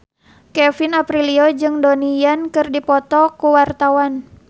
Kevin Aprilio jeung Donnie Yan keur dipoto ku wartawan